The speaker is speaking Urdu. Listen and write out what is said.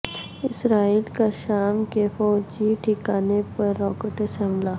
اسرائیل کا شام کے فوجی ٹھکانے پر راکٹوں سے حملہ